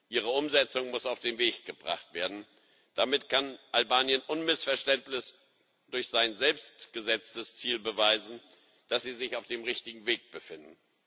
Ihre Umsetzung muss auf den Weg gebracht werden, damit kann Albanien unmissverständlich durch sein selbstgesetztes Ziel beweisen, dass es sich auf dem richtigen Weg befindet.